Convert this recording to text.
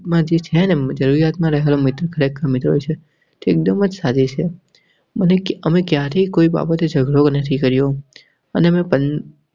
માઝી ખાનની જરૂરિયાત માં રેહવા વાળા મિત્રો ખરેખર મિત્ર હોય છે. તે વાત સાચી છે અમે ક્યારે કોઈ બાબતે ઝઘડો નથી કર્યો. અને મેં પન